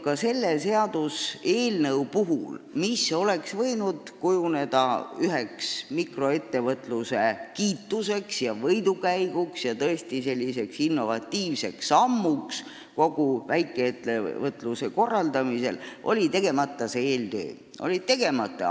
Ka selle seaduseelnõu puhul, mis oleks võinud kujuneda mikroettevõtluse võidukäiguks, tõesti kiiduväärseks innovatiivseks sammuks kogu väikeettevõtluse korraldamisel, oli eeltöö tegemata.